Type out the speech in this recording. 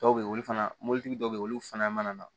Dɔw bɛ yen olu fana mobilitigi dɔw be yen olu fana mana na